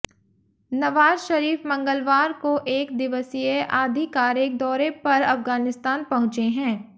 नवाज शरीफ मंगलवार को एक दिवसीय आधिकारिक दौरे पर अफगानिस्तान पहुंचे हैं